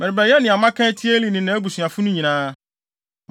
Merebɛyɛ nea maka atia Eli ne nʼabusuafo no nyinaa.